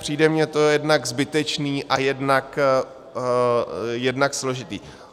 Přijde mi to jednak zbytečné a jednak složité.